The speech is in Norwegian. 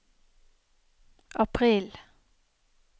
april